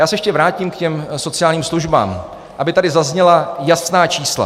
Já se ještě vrátím k těm sociálním službám, aby tady zazněla jasná čísla.